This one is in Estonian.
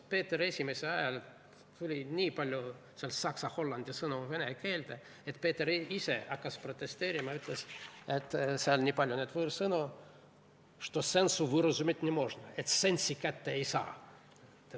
Peeter I ajal tuli nii palju saksa ja hollandi sõnu vene keelde, et Peeter ise hakkas protesteerima ja ütles, et seal on nii palju neid võõrsõnu, što sensu võražit ne možno, et sense'i kätte ei saa.